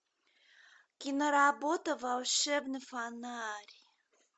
киноработа волшебный фонарь